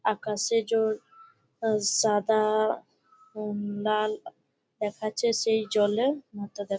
আকাশে জল আ সাদা-আ উঁ লাল উ দেখাচ্ছে সেই জলে-এ মাথা দে --